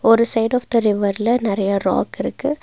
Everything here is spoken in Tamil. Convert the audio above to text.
ஒரு சைடு ஆஃப் த ரிவர்ல நெறைய ராக் இருக்கு.